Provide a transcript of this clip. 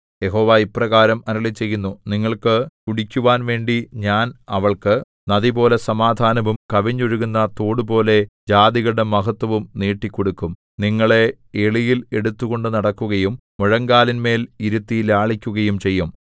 യഹോവ ഇപ്രകാരം അരുളിച്ചെയ്യുന്നു നിങ്ങൾക്ക് കുടിക്കുവാൻവേണ്ടി ഞാൻ അവൾക്കു നദിപോലെ സമാധാനവും കവിഞ്ഞൊഴുകുന്ന തോടുപോലെ ജാതികളുടെ മഹത്ത്വവും നീട്ടിക്കൊടുക്കും നിങ്ങളെ എളിയിൽ എടുത്തുകൊണ്ട് നടക്കുകയും മുഴങ്കാലിന്മേൽ ഇരുത്തി ലാളിക്കുകയും ചെയ്യും